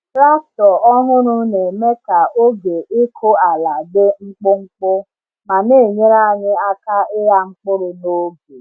Traktọ ọhụrụ na-eme ka oge ịkụ ala dị mkpụmkpụ ma na-enyere anyị aka ịgha mkpụrụ n’oge.